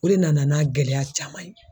O de nana n'a gɛlɛya caman ye.